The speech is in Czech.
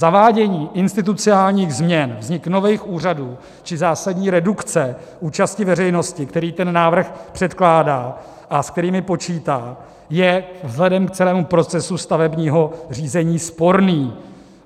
Zavádění institucionálních změn, vznik nových úřadů či zásadní redukce účasti veřejnosti, které ten návrh předkládá a s kterými počítá, je vzhledem k celém procesu stavebního řízení sporný.